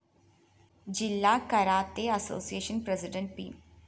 ജില്ലാ karate association president P